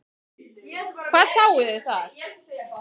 Hvað sáuð þið þar?